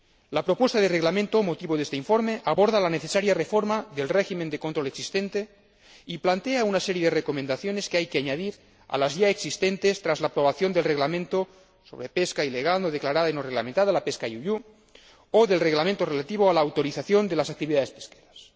La propuesta de reglamento motivo de este informe aborda la necesaria reforma del régimen de control existente y plantea una serie de recomendaciones que hay que añadir a las ya existentes tras la aprobación del Reglamento sobre pesca ilegal, no declarada y no reglamentada la pesca you you o del Reglamento relativo a la autorización de las actividades pesqueras.